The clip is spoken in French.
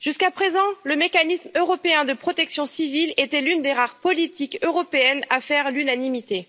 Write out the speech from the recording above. Jusqu'à présent, le mécanisme européen de protection civile était l'une des rares politiques européennes à faire l'unanimité.